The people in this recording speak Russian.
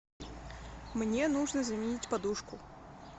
мне нужно заменить подушку